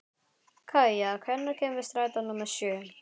Kaía, hvenær kemur strætó númer sjö?